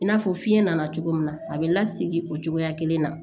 I n'a fɔ fiɲɛ nana cogo min na a bɛ lasigi o cogoya kelen na